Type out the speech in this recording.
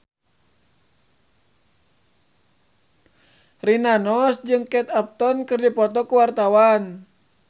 Rina Nose jeung Kate Upton keur dipoto ku wartawan